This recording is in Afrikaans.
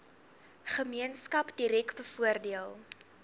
gemeenskap direk bevoordeel